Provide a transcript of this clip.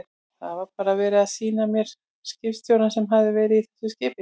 Það var bara verið að sýna mér skipstjórann sem hafði verið í þessu skipi.